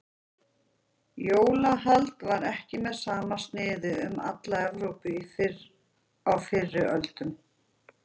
Jólahald var ekki með sama sniði um alla Evrópu á fyrri öldum.